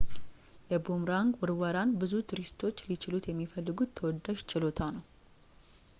የቡምራንግ ውርወራን ብዙ ቱሪስቶች ሊችሉት የሚፈልጉት ተወዳጅ ችሎታ ነው